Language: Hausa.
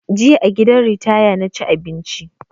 Jiya a gidan ritaya na ci abinci